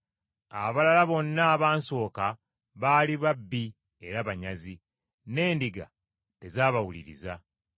Abalala bonna abansooka baali babbi era banyazi, n’endiga tezaabawuliriza.